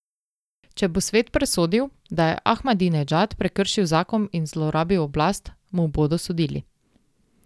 Če bo svet presodil, da je Ahmadinedžad prekršil zakon in zlorabil oblast, mu bodo sodili.